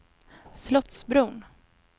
Slottsbron